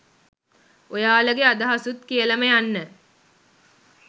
ඔයාලගේ අදහසුත් කියලම යන්න